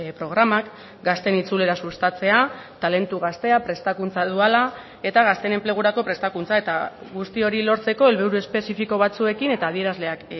programak gazteen itzulera sustatzea talentu gaztea prestakuntza duala eta gazteen enplegurako prestakuntza eta guzti hori lortzeko helburu espezifiko batzuekin eta adierazleak